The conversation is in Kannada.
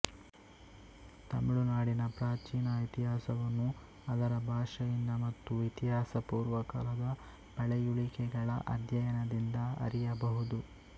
ತಮಿಳು ನಾಡಿನ ಪ್ರಾಚೀನ ಇತಿಹಾಸವನ್ನು ಅದರ ಭಾಷೆಯಿಂದ ಮತ್ತು ಇತಿಹಾಸ ಪೂರ್ವಕಾಲದ ಪಳೆಯುಳಿಕೆಗಳ ಅಧ್ಯಯನದಿಂದ ಅರಿಯಬಹುದು